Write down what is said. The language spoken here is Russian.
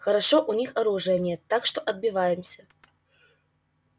хорошо у них оружия нет так что отбиваемся